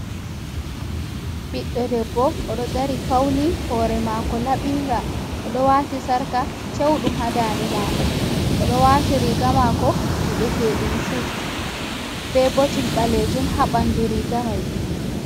Ɓiɗdo debbo oɗo dari fauni, hore mako laɓinga oɗo wati sarka cewɗum ha dande mako, oɗo wati riga mako wi'etedum sud be botin balejum ha bandu riga mai.